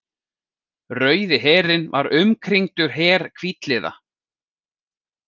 Rauði herinn var umkringdur her hvítliða.